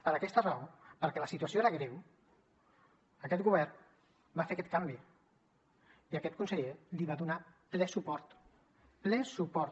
per aquesta raó perquè la situació era greu aquest govern va fer aquest canvi i aquest conseller li va donar ple suport ple suport